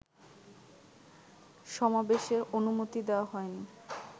সমাবেশের অনুমতি দেওয়া হয়নি